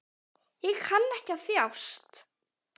Hann kann ekki að þjást.